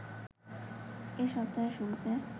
এ সপ্তাহের শুরুতে